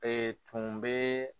tun bɛ